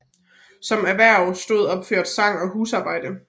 Som erhverv stod opført sang og husarbejde